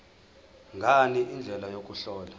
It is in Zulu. ngani indlela yokuhlola